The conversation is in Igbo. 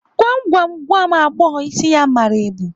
Gwam gwam, gwa m agbọghọ isi ya mara ebu?